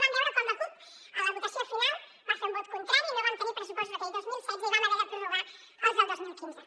vam veure com la cup a la votació final va fer un vot contrari i no vam tenir pressupostos aquell dos mil setze i vam haver de prorrogar els del dos mil quinze